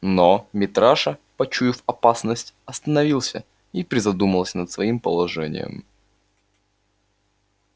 но митраша почуяв опасность остановился и призадумался над своим положением